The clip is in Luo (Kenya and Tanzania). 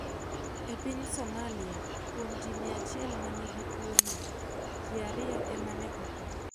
E piny Somalia, kuom ji 100 ma nigi tuwono, ji 2 ema ne tho.